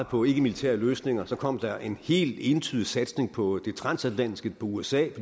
på ikkemilitære løsninger kom der en helt entydig satsning på det transatlantiske på usa